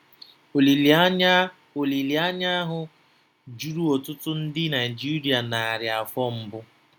Olileanya Olileanya ahụ juru ọtụtụ ndị Naijiria narị afọ mbụ.